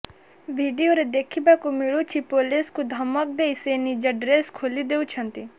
ଭିଡିଓରେ ଦେଖିବାକୁ ମିଳୁଛି ପୋଲିସଙ୍କୁ ଧମକ ଦେଇ ସେ ନିଜ ଡ୍ରେସ୍ ଖୋଲି ଦେଉଛନ୍ତି